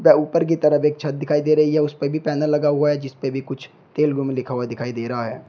The ऊपर की तरफ एक छत दिखाई दे रही है। उसपे भी पैनल लगा हुआ है जिस पे भी कुछ तेलुगु में लिखा हुआ दिखाई दे रहा है।